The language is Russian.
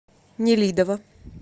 нелидово